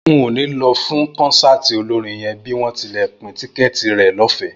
N ò ní lọ fún kọ́nsáàti olórin yẹn bí wọ́n tilẹ̀ ń pín tíkẹ́ẹ̀tì rẹ̀ lọ́fẹ̀ẹ́